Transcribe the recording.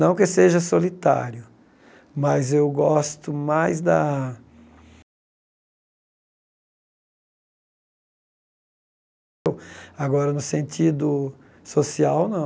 Não que eu seja solitário, mas eu gosto mais da... Agora, no sentido social, não.